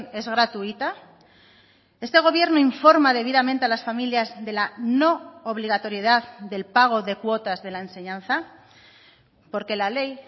es gratuita este gobierno informa debidamente a las familias de la no obligatoriedad del pago de cuotas de la enseñanza porque la ley